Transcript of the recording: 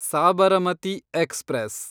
Sabarmati express